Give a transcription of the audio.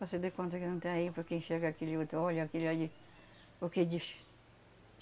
Você dê conta que não está aí porque enxerga aquele outro, olha aquele ali, o que diz?